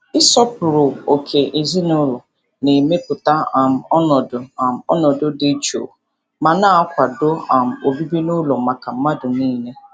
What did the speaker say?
Ịsọpụrụ ókè ezinụlọ na-emepụta um ọnọdụ um ọnọdụ dị jụụ ma na-akwado um obibi n'ụlọ maka mmadụ niile.